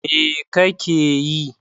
Me kake yi?